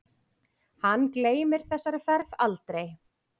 Hann gleymir þessari ferð aldrei.